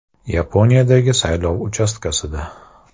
Yaponiyadagi saylov uchastkasida.